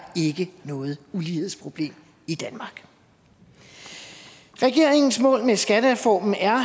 noget ulighedsproblem i danmark regeringens mål med skattereformen er